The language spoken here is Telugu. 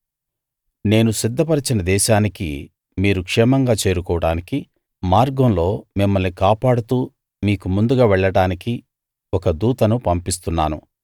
నేను సిద్ధపరచిన దేశానికి మీరు క్షేమంగా చేరుకోవడానికి మార్గంలో మిమ్మల్ని కాపాడుతూ మీకు ముందుగా వెళ్ళడానికి ఒక దూతను పంపిస్తున్నాను